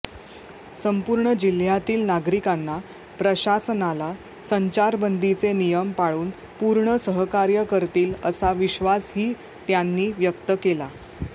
संपूर्ण जिल्ह्यातील नागरिकांनी प्रशासनाला संचारबंदीचे नियम पाळून पूर्ण सहकार्य करतील असा विश्वासही त्यांनी व्यक्त केला